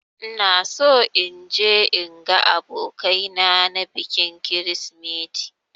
Ina so in je in ga abokai na na bikin krisimeti